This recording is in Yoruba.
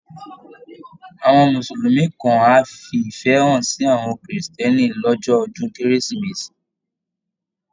Àwọn Mùsùlùmí kan á fi ìfẹ́ hàn sí àwọn Kírísítẹ́nì lọ́jọ́ ọdún Kérésìmesì